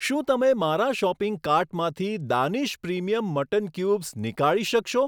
શું તમે મારા શોપિંગ કાર્ટમાંથી દાનિશ પ્રિમિયમ મટન ક્યુબ્સ નીકાળી શકશો?